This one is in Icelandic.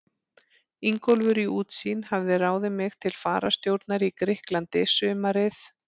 Ingólfur í Útsýn hafði ráðið mig til fararstjórnar í Grikklandi sumarið